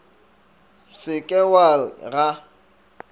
se ke wa re ga